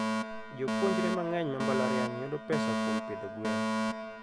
jopuonjre mangeny ma mbalariany yudo pesa kuom pidho gwen